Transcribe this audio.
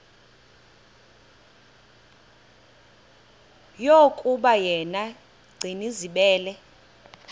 yokuba yena gcinizibele